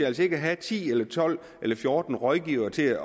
altså ikke have ti eller tolv eller fjorten rådgivere til at